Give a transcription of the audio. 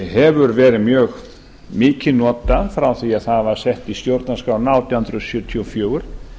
hefur verið mjög mikið notað frá því að það var sett í stjórnarskrána átján hundruð sjötíu og fjögur